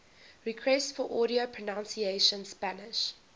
requests for audio pronunciation spanish